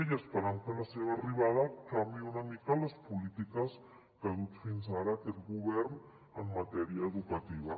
i esperem que la seva arribada canviï una mica les polítiques que ha dut fins ara aquest govern en matèria educativa